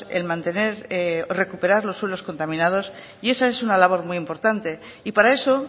en mantener y recuperar los suelos contaminados y esa es una labor muy importante y para eso